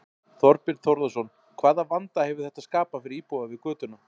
Þorbjörn Þórðarson: Hvaða vanda hefur þetta skapað fyrir íbúa við götuna?